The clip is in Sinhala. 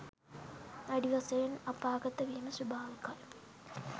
වැඩි වශයෙන් අපාගත වීම ස්වභාවිකයි.